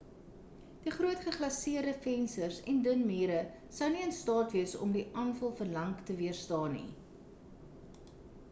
die groot geglaseerde vensters en dun mure sou nie in staat wees om die aanval vir lank te weerstaan nie